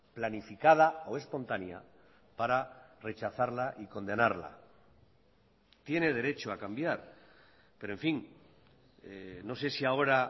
planificada o espontánea para rechazarla y condenarla tiene derecho a cambiar pero en fin no sé si ahora